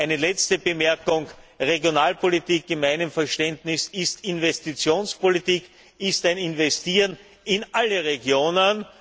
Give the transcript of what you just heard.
Eine letzte Bemerkung Regionalpolitik ist in meinem Verständnis Investitionspolitik, ein Investieren in alle Regionen.